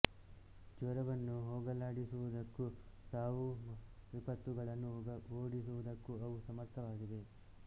ಜ್ವರವನ್ನು ಹೋಗಲಾಡಿಸುವುದಕ್ಕೂ ಸಾವು ಹಾಗೂ ವಿಪತ್ತುಗಳನ್ನು ಓಡಿಸುವುದಕ್ಕೂ ಅವು ಸಮರ್ಥವಾಗಿವೆ